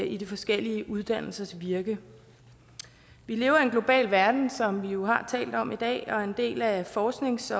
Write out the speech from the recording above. i de forskellige uddannelsers virke vi lever i en global verden som vi jo har talt om i dag og en del af forsknings